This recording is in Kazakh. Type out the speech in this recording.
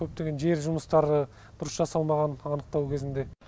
көптеген жер жұмыстары дұрыс жасалмаған анықтау кезінде